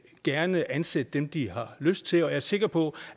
gerne ansætte dem de har lyst til og jeg er sikker på